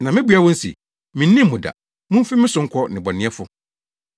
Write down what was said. Na mabua wɔn se, ‘Minnim mo da. Mumfi me so nkɔ, nnebɔneyɛfo!’